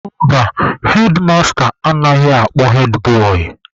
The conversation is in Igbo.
Mba, hedmasta anaghị akpọ hedbọị.